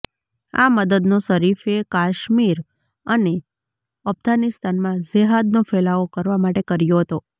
આ મદદનો શરીફે કાશ્મીર અને અફઘાનિસ્તાનમાં જેહાદનો ફેલાવો કરવા માટે કર્યો હતો